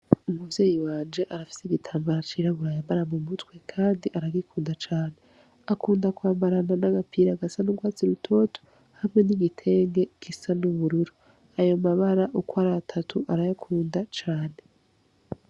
Umuvyeyi wanje arafise igitambara cirabura yambara mu mutwe, kandi aragikunda cane. Akunda kwambarana n'agapira gasa n'urwatsi rutoto hamwe n'igitenge gisa n'ubururu. Ayo mabara uko ari atatu, arayakunda cane.